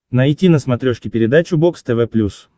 найти на смотрешке передачу бокс тв плюс